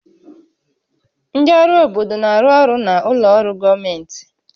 Ndị ọrụ obodo na-arụ ọrụ na ụlọ ọrụ gọọmentị